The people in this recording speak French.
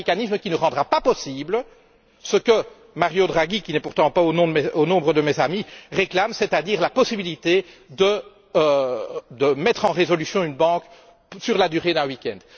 C'est un mécanisme qui ne rendra pas possible ce que Mario Draghi qui n'est pourtant pas au nombre de mes amis réclame, c'est à dire la possibilité de mettre en résolution une banque sur la durée d'un week end.